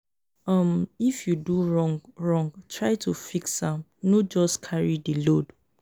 um if you do wrong wrong try to fix am no just carry di load.